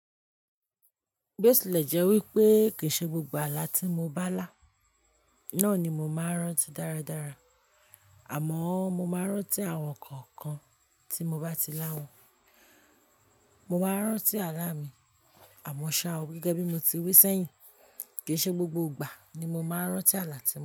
Bí o tilẹ̀ jẹ́ wípé kìí ṣe gbogbo ààlà tí mo bá là, náà ni mo máa ń rántí dáradára. Àmọ́ mo máa ń rántí àwọn kọ̀ọ̀kan tí mo bá ti lá wọn. Mo máa ń rántí ààlà mi, àmọ́ ṣá o, gẹ́gẹ́ bí mo ti wí sẹ́yìn, kìí ṣe gbogbo ìgbà ni mo máa ń rántí ààlà tí mo.